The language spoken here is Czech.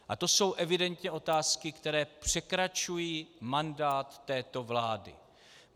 A to jsou evidentně otázky, které překračují mandát této vlády.